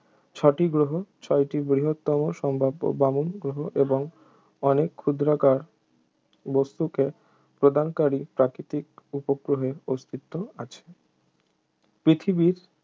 ছটি গ্রহ ছয়টি বৃহত্তম সম্ভাব্য বামন গ্রহ এবং অনেক ক্ষুদ্রাকার বস্তুকে প্রদানকারী প্রাকৃতিক উপগ্রহের অস্তিত্ব আছে পৃথিবীর